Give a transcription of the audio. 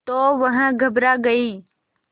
तो वह घबरा गई